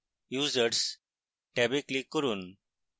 users ট্যাবে click করুন